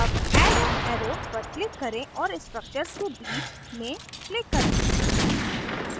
add add an arrow पर click करें और structures के बीच में click करें